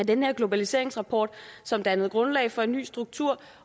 den her globaliseringsrapport som dannede grundlag for en ny struktur